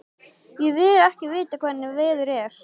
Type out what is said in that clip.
Ég vil ekki vita hvernig veður er.